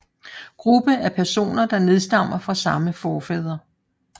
Gruppe af personer der nedstammer fra samme forfader